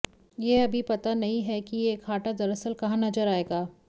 यह अभी पता नहीं है कि यह घाटा दरअसल कहां नजर आएगा